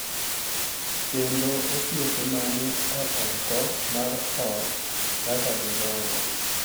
Kendo osiep ma ni e oko mar ot kaka gidongo.